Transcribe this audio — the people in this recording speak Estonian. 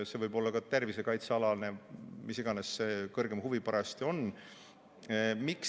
See võib olla ka tervisekaitsealane või mis iganes see kõrgem huvi parajasti on.